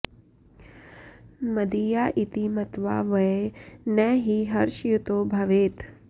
मदीया इति मत्वा वै न हि हर्षयुतो भवेत्